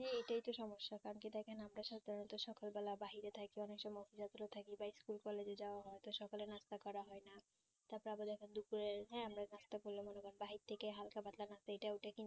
প্রচুর সমস্যা কারণ কি দেখেন আমরা সবাই সকাল বেলায় বাহিরে থাকি অনেক সময় বা school college এ যাওয়া হয় তো সকালে নাস্তা করা হয় না তারপর াব দ্যাখো দুপুরে হ্যাঁ আমরা নাস্তা করলাম না আমরা বাহির থেকে হালকা পাতলা বা এইটা ঐটা